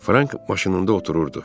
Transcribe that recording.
Frank maşınında otururdu.